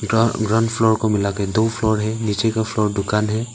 Grand ground floor को मिलाके दो फ्लोर है नीचे का फ्लोर दुकान है।